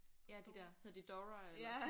Ja de der hedder de Dora eller?